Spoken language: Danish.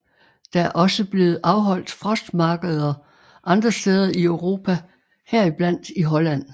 Der er også blevet afholdt frostmarkeder andre steder i Europa heriblandt i Holland